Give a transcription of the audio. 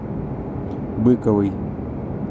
быковой